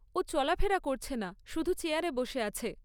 ও চলাফেরা করছে না, শুধু চেয়ারে বসে আছে।